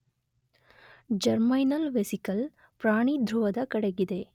Germinal vesicle ಪ್ರಾಣಿಧೃವದ ಕಡೆಗಿದೆ.